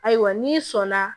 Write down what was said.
Ayiwa n'i sɔnna